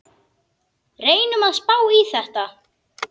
Reynum að spá í þetta.